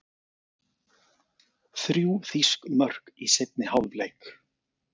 Þrjú þýsk mörk í seinni hálfleik